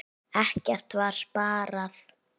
Ekkert var sparað.